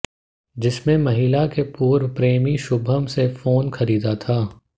जिसमें महिला के पूर्व प्रेमी शुभम से फोन खरीदा था